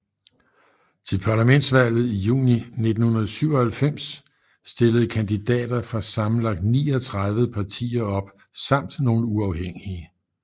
Til parlamentsvalget i juni 1997 stillede kandidater fra sammenlagt 39 partier op samt nogle uafhængige